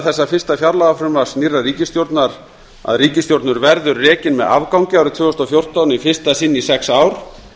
þessa fyrsta fjárlagafrumvarps nýrrar ríkisstjórnar að ríkissjóður verður rekinn með afgangi árið tvö þúsund og fjórtán í fyrsta sinn í sex ár